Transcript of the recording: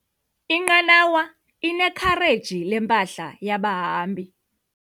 Inqanawa inekhareji lempahla yabahambi.